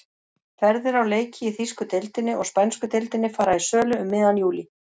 Ferðir á leiki í þýsku deildinni og spænsku deildinni fara í sölu um miðjan júlí.